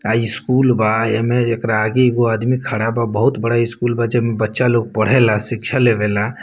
आ स्कूल बा एमें एकरा आगे एगो आदमी खड़ा बा बहुत बड़ा स्कूल बा जेमें बच्चा लोग पढ़ेला शिक्षा लेवे ला।